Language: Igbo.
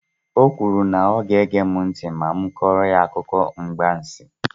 O kwuru na ọ ga-ege mụ ntị ma m kọrọ ya akụkọ mgbansi.